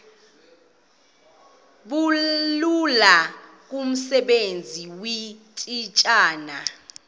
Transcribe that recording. bulula kumsebenzi weetitshala